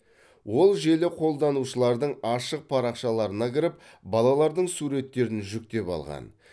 ол желі қолданушылардың ашық парақшаларына кіріп балалардың суреттерін жүктеп алған